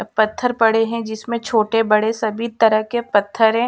अब पत्थर पड़े है जिसमें छोटे बड़े सभी तरह के पत्थर है।